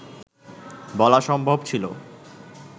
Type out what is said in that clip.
বলা সম্ভব ছিল